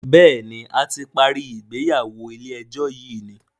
béèni a ti parí ìgbéyàwó ilé ejó yi ní.